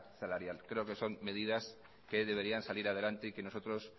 salarial creo que son medidas que deberían salir adelante y que nosotros